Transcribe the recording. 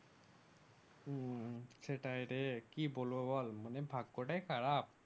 হম সেটাইরে কি বলবো বল মানে ভাগ্যটাই খারাপ